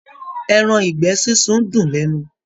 Ẹran ìgbẹ́ sísun dùn lẹ́nu.